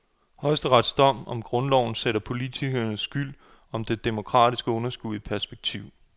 Højesterets dom om grundloven sætter politikernes skyld om det demokratiske underskud i perspektiv.